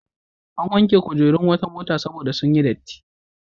An wanke kujerun wata mota saboda sun yi datti.